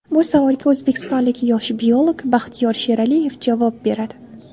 Bu savolga o‘zbekistonlik yosh biolog Baxtiyor Sheraliyev javob beradi.